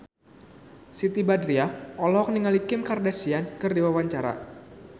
Siti Badriah olohok ningali Kim Kardashian keur diwawancara